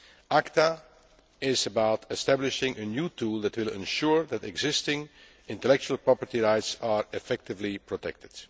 ACTA is about establishing a new tool that will ensure that existing intellectual property rights are effectively protected.